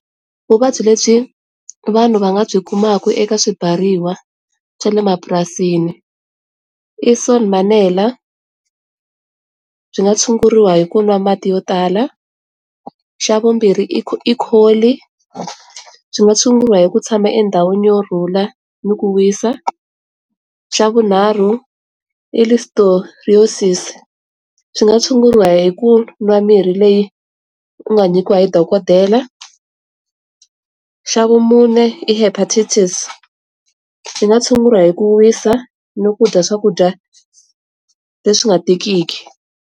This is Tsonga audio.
Vuvabyi lebyi vanhu va nga byi kumaka eka swibyariwa swa le mapurasini i sonmanella byi nga tshunguriwa hi ku nwa mati yo tala, xa vumbirhi i kholi swi nga tshunguriwa hi ku tshama endhawini yo rhula ni ku wisa, xa vunharhu i listeriosis swi nga tshunguriwa hi ku nwa mirhi leyi u nga nyikiwa hi dokodela, xa vumune i hepatitis swi nga tshunguriwa hi ku wisa no kudya swakudya leswi nga tikiki.